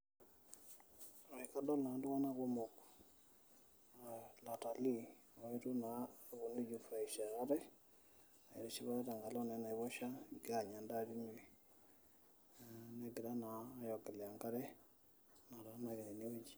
Ee kadol naa iltung'anak kumok aa latalii oetuo naa aponu aijifurahisha ate aitiship ate tenkalo naa ena aiposha egira naa aanya endaa tine negira naa aiogelea enkare nataana ake tine wueji.